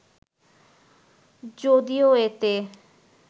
যদিও এতে